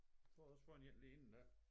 Du havde også fundet en den ene dér